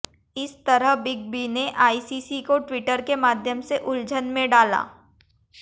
इस तरह big B ने आईसीसी को ट्विटर के माध्यम से उलझन में डाला